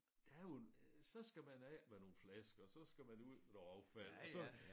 Der er jo en så skal man af med nogle flasker så skal man ud med noget affald og så